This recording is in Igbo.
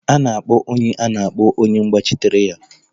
A na-akpọ onye a na-akpọ onye na-agbachitere ya.